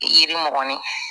Yiri mɔgɔnin